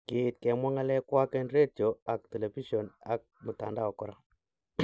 Kiit kemwa ngalekwak en retio ag telepision ag mtandao kora.